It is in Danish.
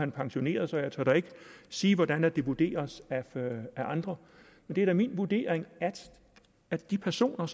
han pensioneret så jeg tør da ikke sige hvordan det vurderes af andre det er da min vurdering af de personer